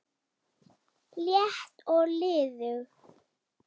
létt og liðug